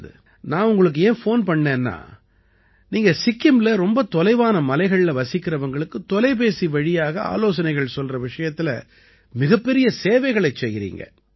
நல்லது நான் உங்களுக்கு ஏன் ஃபோன் பண்ணினேன்னா நீங்க சிக்கிம்ல ரொம்ப தொலைவான மலைகள்ல வசிக்கறவங்களுக்கு தொலைபேசிவழியாக ஆலோசனைகள் சொல்கிற விஷயத்தில மிகப்பெரிய சேவைகளைச் செய்யறீங்க